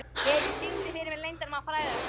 Levý, syngdu fyrir mig „Leyndarmál frægðarinnar“.